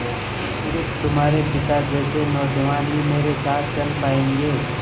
स़िर्फ तुम्हारे पिता जैसे नौजवान ही मेरे साथ चल पायेंगे